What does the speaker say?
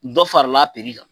Dɔ farala piri kan.